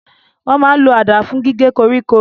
Wọ́n máa n lo àdá fún gígé koríko